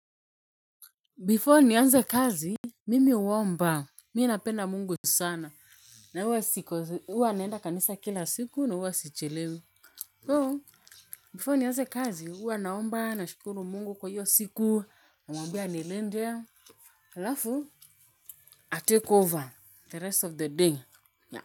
Before nianze kazi, mimi huomba, mi napenda Mungu sana, na huwa naenda kanisa kila siku, na huwa sichelewi. So, before nianze kazi, huwa naomba, nashukuru Mungu kwa hiyo siku, namwambia anilinde, alafu, atake over the rest of the day.